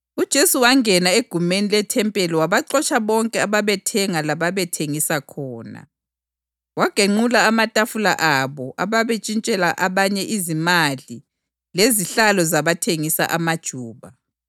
UJesu wangena egumeni lethempeli wabaxotsha bonke ababethenga lababethengisa khona. Wagenqula amatafula alabo ababentshintshela abanye izimali lezihlalo zabathengisa amajuba.